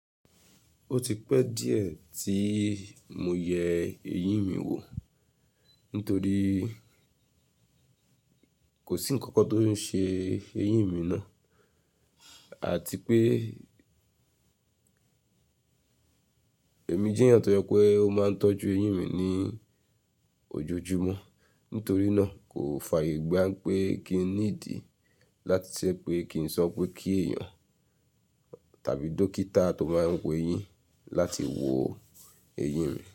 Ó ti pẹ́ díẹ̀ tí mo yẹ ẹyín mi wò nítorí kò sí ǹkan kan tó ń ṣe ẹyín mi náà àti pé èmi jẹ́ èèyàn tó jẹ pé ó máa ń tọ́jú ẹyín mi ní ojoojúmọ́. Nítorí náà, kò fàyè gbá pé kí n ní ìdí láti ṣẹ́ pé kí n sọ pé kí èèyàn tàbí dókítà tó máa ń wo eyín láti wo ẹyín mi.